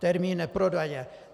Termín neprodleně."